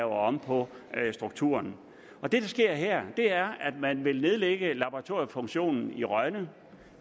om på strukturen og det der sker her er at man vil nedlægge laboratoriefunktionen i rønne